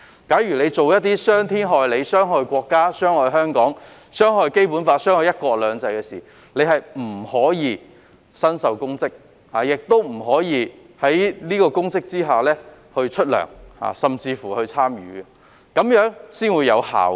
假如做了一些傷天害理、傷害國家、傷害香港、傷害《基本法》、傷害"一國兩制"的事情，便不可以身受公職，亦不可以就出任公職收取薪酬，甚至參與公職，這樣才會有效。